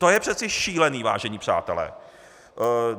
To je přece šílené, vážení přátelé.